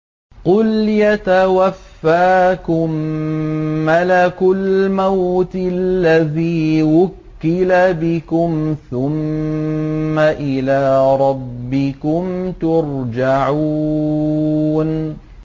۞ قُلْ يَتَوَفَّاكُم مَّلَكُ الْمَوْتِ الَّذِي وُكِّلَ بِكُمْ ثُمَّ إِلَىٰ رَبِّكُمْ تُرْجَعُونَ